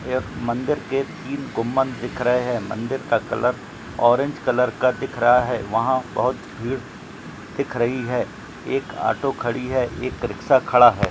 ये मंदिर के तीन गुम्बद दिख रहे है मंदिर का कलर ऑरेंज कलर का दिख रहा है वहा बहुत भीड़ दिख रही है एक ऑटो खड़ी है एक रिक्शा खड़ा है।